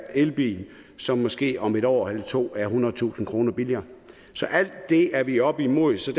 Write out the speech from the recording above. elbil som måske om et år eller to er ethundredetusind kroner billigere alt det er vi oppe imod så